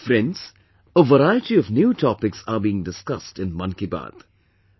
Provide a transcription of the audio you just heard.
Friends, a variety of new topics are being discussed in 'Mann Ki Baat'